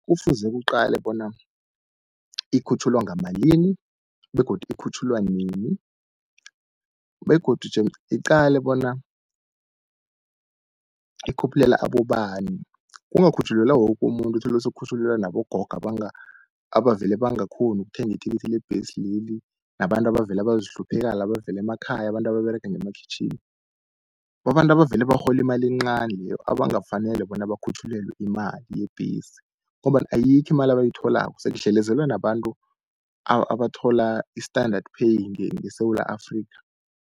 Kufuze kuqalwe bona ikhutjhulwa ngamalini begodu ikhutjhulwa nini, begodu jemde iqalwe bona ikhuphulelwa abobani. Kungakhutjhulelwa woke umuntu uthole sekukhutjhulelwa nabogogo, abavele bangakghoni ukuthenga ithikithi lebhesi leli, nabantu abavela bazihluphekela abavela emakhaya. Abantu ababerega ngemakhwitjhini babantu abavele barhola imali encani leyo abangafanele bona bakhutjhulelwe imali yebhesi. Ngombana ayikho imali abayitholako sekudlelezelwa nabantu abathola i-standard pay ngeSewula Afrika.